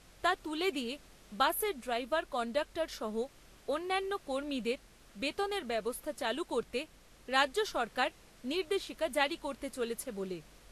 তা তুলে দিয়ে বাসের ড্রাইভার কন্ডাক্টর সহ অন্যান্য কর্মীদের বেতনের ব্যবস্থা চালু করতে রাজ্য সরকার নির্দেশিকা জারি করতে চলেছে।